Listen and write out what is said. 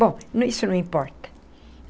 Bom, isso não importa.